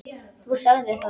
Þú sagðir það.